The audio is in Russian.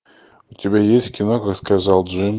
у тебя есть кино как сказал джим